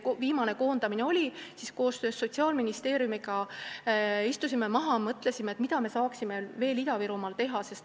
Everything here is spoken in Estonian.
Kui viimane koondamine oli, siis me koos Sotsiaalministeeriumiga mõtlesime, mida me saaksime veel Ida-Virumaal teha.